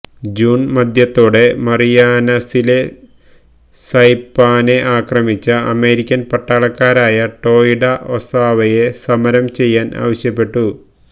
June മധ്യത്തോടെ മറിയാനസിലെ സൈപാനെ ആക്രമിച്ച അമേരിക്കൻ പട്ടാളക്കാരായ ടോയിഡ ഒസാവയെ സമരം ചെയ്യാൻ ആവശ്യപ്പെട്ടു